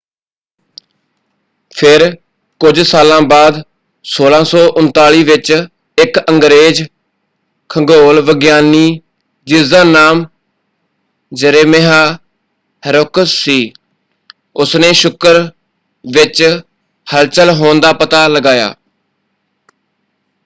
ਫਿਰ ਕੁਝ ਸਾਲਾਂ ਬਾਅਦ 1639 ਵਿੱਚ ਇੱਕ ਅੰਗਰੇਜ਼ ਖਗੋਲ ਵਿਗਿਆਨੀ ਜਿਸਦਾ ਨਾਮ ਜਰੇਮਿਆਹ ਹੈਰੋਕਸ ਸੀ ਉਸਨੇ ਸ਼ੁੱਕਰ ਵਿੱਚ ਹਲਚਲ ਹੋਣ ਦਾ ਪਤਾ ਲਗਾਇਆ।